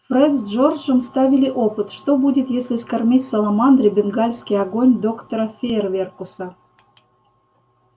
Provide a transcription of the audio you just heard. фред с джорджем ставили опыт что будет если скормить саламандре бенгальский огонь доктора фейерверкуса